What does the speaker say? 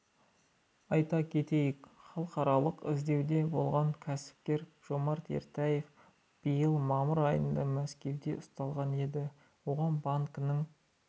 айта кетейік халықаралық іздеуде болған кәсіпкер жомарт ертаев биыл мамыр айында мәскеуде ұсталған еді оған банкінің